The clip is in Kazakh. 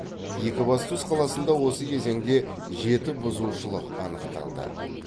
екібастұз қаласында осы кезеңде жеті бұзушылық анықталды